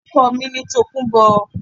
Orúkọ mi ni Tòkunbọ̀